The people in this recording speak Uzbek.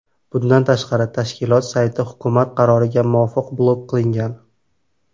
Bundan tashqari, tashkilot sayti hukumat qaroriga muvofiq blok qilingan.